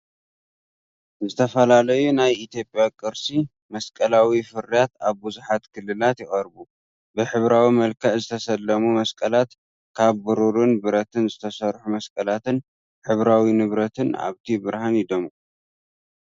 ዝተፈላለዩ ናይ ኢትዮጵያ ቅርሲ መስቀላዊ ፍርያት ኣብ ብዙሓት ክልላት ይቐርቡ። ብሕብራዊ መልክዕ ዝተሰለሙ መስቀላት፡ ካብ ብሩርን ብረት ዝተሰርሑ መስቀላትን ሕብራዊ ንብረትን ኣብቲ ብርሃን ይደምቁ።